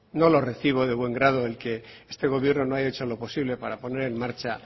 no lo recibo de buen grado el que este gobierno no haya hecho lo posible para poner en marcha